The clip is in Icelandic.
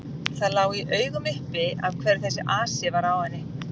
Það lá í augum uppi af hverju þessi asi var á henni.